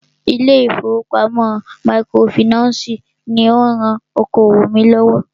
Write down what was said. Ilé ìfọwọ́pamo microfinancii ní o rán okoòwò mí lọ́wọ́.